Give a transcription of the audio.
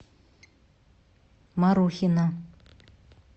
марухина